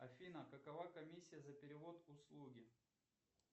афина какова комиссия за перевод услуги